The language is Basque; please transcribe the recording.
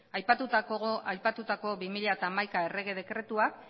aipatutako bi mila hamaika errege dekretuak